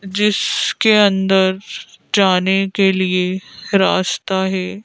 जिसके अंदर जाने के लिए रास्ता है।